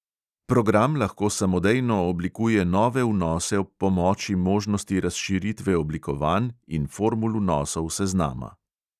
Program lahko samodejno oblikuje nove vnose ob pomoči možnosti razširitve oblikovanj in formul vnosov seznama.